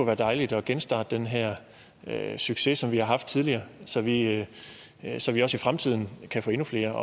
være dejligt at genstarte den her succes som vi har haft tidligere så vi i fremtiden kan få endnu flere